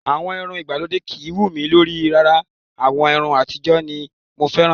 Àwọn irun ìgbàlódé kìí wú mi lórí rárá. Àwọn irun àtijọ́ ni mo fẹ́ràn